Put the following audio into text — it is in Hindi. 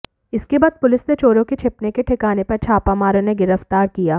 इसके बाद पुलिस ने चोरों के छिपने के ठिकाने पर छापा मार इन्हें गिरफ्तार किया